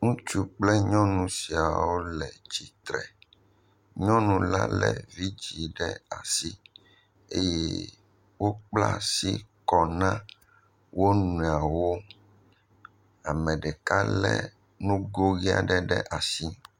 Ŋutsu kple nyɔnu sia wole tsitre, nyɔnu la lé vidzɛ̃ ɖe asi eye wokpla asi kɔ na wo nɔewo, ame ɖeka lé ngo ʋɛ̃ aɖe ɖe asi.